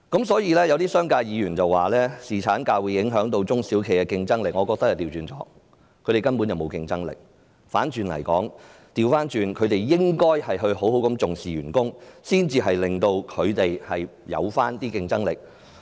所以，有些商界議員說侍產假會影響中小企的競爭力，我則認為正好相反，他們根本沒有競爭力，倒過來說，他們應該好好重視員工的福祉，才能令公司增加競爭力。